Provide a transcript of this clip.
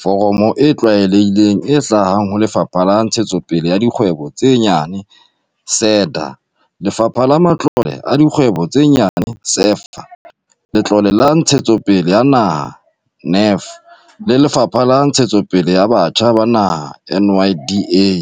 foromo e tlwaelehileng e hlahang ho Lefapha la Ntshetsopele ya Dikgwebo tse Nyane, SEDA, Lefapha la Matlole a Dikgwebo tse Nyane, SEFA, Letlole la Ntshetsopele ya Naha, NEF, le Lefapha la Ntshetsopele ya Batjha ba Naha, NYDA.